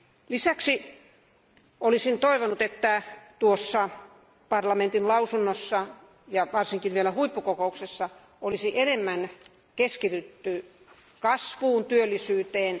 Lisäksi olisin toivonut, että tuossa parlamentin lausunnossa ja varsinkin huippukokouksessa olisi enemmän keskitytty kasvuun ja työllisyyteen.